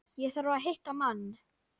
Ég þarf að hitta mann.